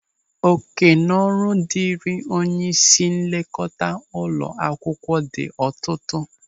Òkènaọrụ dịrị onyeisi nlekọta ụlọ akwụkwọ dị ọtụtụ.